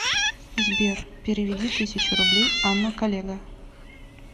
сбер переведи тысячу рублей анна коллега